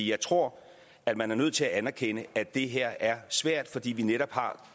jeg tror at man er nødt til at anerkende at det her er svært fordi vi netop har